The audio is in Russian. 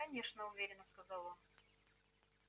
конечно уверенно сказал он